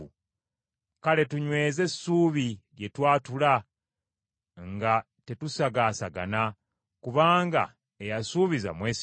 Kale tunyweze essuubi lye twatula nga tetusagaasagana, kubanga eyasuubiza mwesigwa,